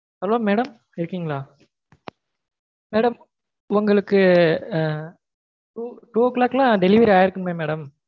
hello madam இருக்கீங்களா? madam உங்களுக்கு two o'clock லாம் delivery ஆயிருக்குமே madam